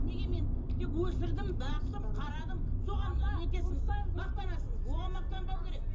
неге мен тек өсірдім бақтым қарадым соған не етесіз мақтанасыз оған мақтанбау керек